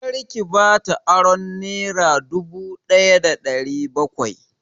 Kar ki bata aron nera dubu daya da ɗari bakwai!